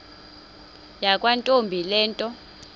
yakwantombi le nto